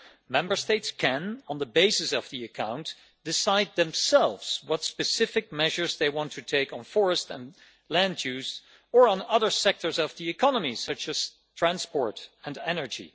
Member States can, on the basis of the account, decide themselves what specific measures they want to take on forest and land use, or on other sectors of the economy such as transport and energy.